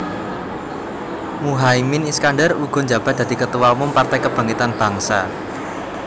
Muhaimin Iskandar uga njabat dadi Ketua Umum Partai Kebangkitan Bangsa